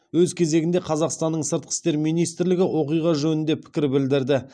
өз кезегінде қазақстанның сыртқы істер министрлігі оқиға жөнінде пікір білдірді